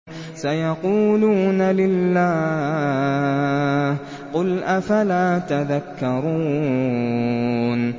سَيَقُولُونَ لِلَّهِ ۚ قُلْ أَفَلَا تَذَكَّرُونَ